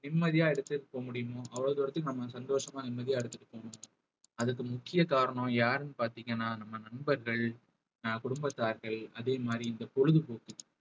நிம்மதியா எடுத்துட்டு போக முடியுமோ அவ்வளவு தூரத்துக்கு நம்ம சந்தோஷமா நிம்மதியா எடுத்துட்டு போணும் அதுக்கு முக்கிய காரணம் யாருன்னு பார்த்தீங்கன்னா நம்ம நண்பர்கள் அஹ் குடும்பத்தார்கள் அதே மாதிரி இந்த பொழுதுபோக்கு